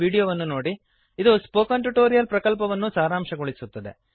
httpspoken tutorialorgWhat is a Spoken Tutorial ಅದು spoken tutorial ಪ್ರಕಲ್ಪವನ್ನು ಸಾರಾಂಶಗೊಳಿಸುತ್ತದೆ